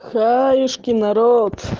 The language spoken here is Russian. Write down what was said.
хаюшки народ